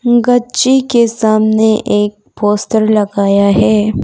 गच्ची के सामने एक पोस्टर लगाया है।